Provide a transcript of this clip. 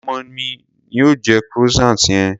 Ọmọ mi ni ó jẹ croissant yẹn.